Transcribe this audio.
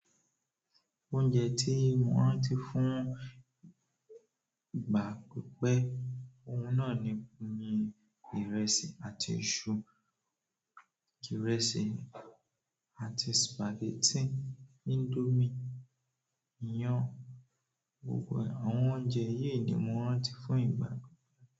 Oúnjẹ tí mò rántí fún ìgbà pípẹ́, ohun náà ni ìrẹsì àti iṣu, ìrẹsì àti spaghetti, indomie, iyán, gbogbo àwọn oúnjẹ yìí ni mò rántí fún ìgbà pípẹ́.